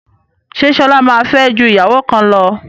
Ṣé Ṣọlá máa fẹ́ ju ìyàwó kan lọ?